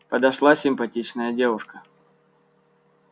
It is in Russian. подошла симпатичная девушка